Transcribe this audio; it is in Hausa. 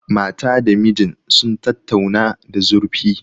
Mata da mijin sun tattauna da zurfi.